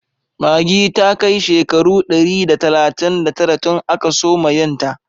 Maggi ta kai shekaru dari da talatin da tara tun aka soma yin ta